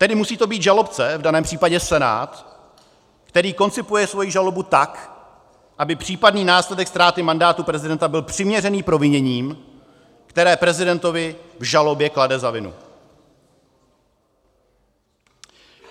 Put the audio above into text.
Tedy musí to být žalobce, v daném případě Senát, který koncipuje svoji žalobu tak, aby případný následek ztráty mandátu prezidenta byl přiměřený proviněním, která prezidentovi v žalobě klade za vinu.